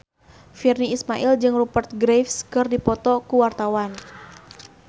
Virnie Ismail jeung Rupert Graves keur dipoto ku wartawan